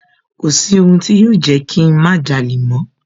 Kọ̀sí ohun tí yóò Jẹ́kí ń má jalè mọ́